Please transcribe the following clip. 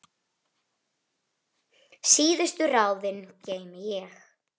Síðustu ráðin geymi ég.